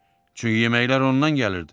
Çünki yeməklər ondan gəlirdi.